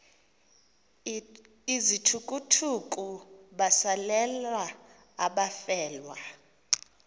izithukuthuku besalela abafelwa